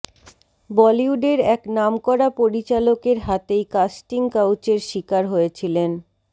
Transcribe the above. বলিউডের এক নামকরা পরিচালকের হাতেই কাস্টিং কাউচের শিকার হয়েছিলেন